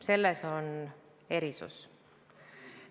Selles on erisus.